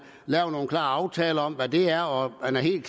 laver nogle klare aftaler om hvad det er og at man er helt